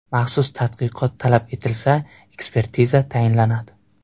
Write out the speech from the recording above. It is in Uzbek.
Maxsus tadqiqot talab etilsa, ekspertiza tayinlanadi.